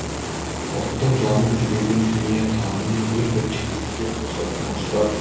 ұлттың жанын жүрегін дүниетанымын ең бірінші кезекте қозғайтын осылар